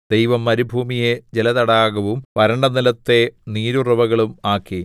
ദൈവം മരുഭൂമിയെ ജലതടാകവും വരണ്ട നിലത്തെ നീരുറവുകളും ആക്കി